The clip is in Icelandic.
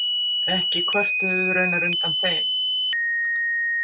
Ekki kvörtuðum við raunar undan þeim.